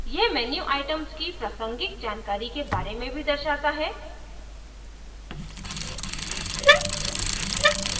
यह menu items की प्रासंगिक जानकारी के बारे में भी दर्शाता है